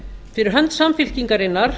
fyrir hönd samfylkingarinnar